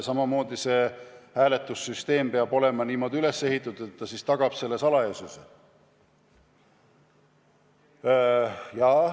Samamoodi peab see hääletussüsteem olema niimoodi üles ehitatud, et salajasus oleks tagatud.